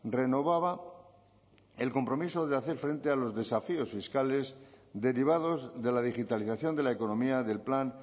renovaba el compromiso de hacer frente a los desafíos fiscales derivados de la digitalización de la economía del plan